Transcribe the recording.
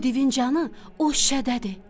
Bu divin canı o şüşədədir.